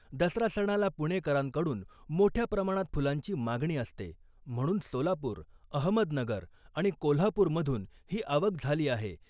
दसरा सणाला पुणेकरांकडून मोठ्या प्रमाणात फुलांची मागणी असते , म्हणून सोलापूर , अहमदनगर आणि कोल्हापूरमधून ही आवक झाली आहे .